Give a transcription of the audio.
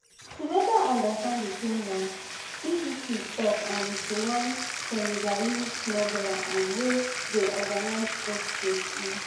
to better understand di criminal bbc tok um to one senegalese smuggler um wey dey organise boat trips e